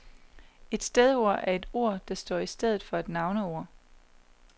Et stedord er et ord, der står i stedet for et navneord.